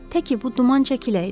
Tək ki bu duman çəkiləydi.